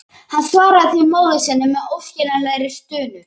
Hann svaraði því móður sinni með óskiljanlegri stunu.